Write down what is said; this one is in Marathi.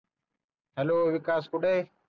हेलो विकास कुठ आहे